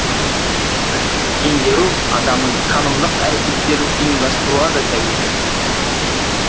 білімді меңгеру адамның танымдық әрекеттерін ұйымдастыруға да тәуелді